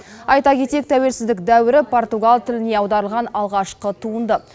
айта кетейік тәуелсіздік дәуірі португал тіліне аударылған алғашқы туынды